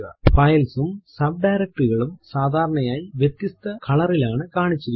Files ഉം subdirectory കളും സാധാരണയായി വ്യത്യസ്ത കളറിലാണ് കാണിച്ചിരിക്കുന്നത്